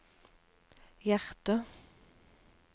hjerter